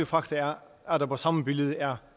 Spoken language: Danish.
fakta er at der på samme billede er